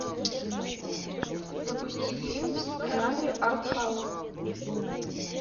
запусти фильм в жанре артхаус